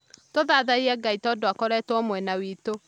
Tũthathaiye ngai tondũakoretwo mwena witũ